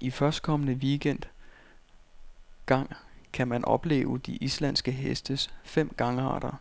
I førstkommende weekend gang kan man opleve de islandske hestes fem gangarter,